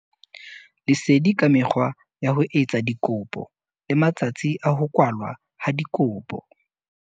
Lesedi ka mekgwa ya ho etsa dikopo le matsatsi a ho kwalwa ha dikopo.